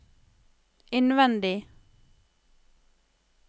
innvendig